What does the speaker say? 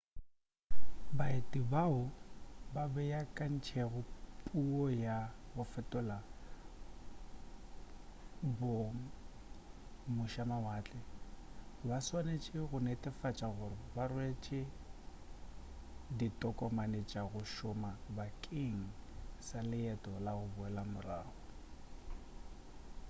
baeti bao ba beakantšego puo ya go fetola bong mošamawatle ba swanetše go netefatša gore ba rwele ditokomane tša go šoma bakeng sa leeto la go boela morago